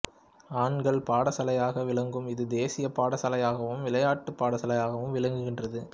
ஆண்கள் பாடசாலையாக விளங்கும் இது தேசிய பாடசாலையாகவும் விளையாட்டுப் பாடசாலையாகவும் விளங்குகின்றது